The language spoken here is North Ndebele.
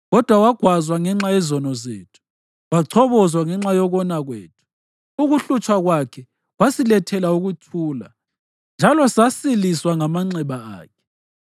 Kodwa wagwazwa ngenxa yezono zethu, wachobozwa ngenxa yokona kwethu, ukuhlutshwa kwakhe kwasilethela ukuthula, njalo sasiliswa ngamanxeba akhe.